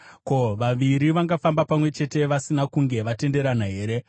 Ko, vaviri vangafamba pamwe chete vasina kunge vatenderana here?